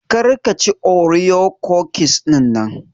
Kar ka chi Oreo cookies dinnan.